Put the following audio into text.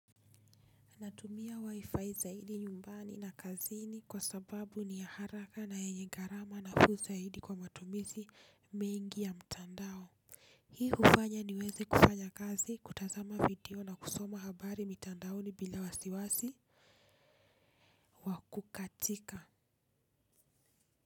Natumia wifi zaidi nyumbani na kazini kwa sababu ni ya haraka na yenye gharama nafuu zaidi kwa matumizi mengi ya mtandao. Hii hufanya niweze kufanya kazi kutazama video na kusoma habari mitandaoni bila wasiwasi wa kukatika.